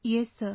Yes sir